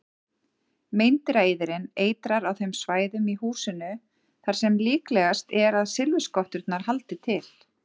Meindýraeyðirinn eitrar á þeim svæðum í húsinu þar sem líklegast er að silfurskotturnar haldi til.